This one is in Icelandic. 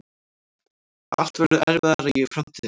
Allt verður erfiðara í framtíðinni.